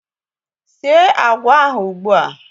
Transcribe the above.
Síé agwa ahụ ugbu a!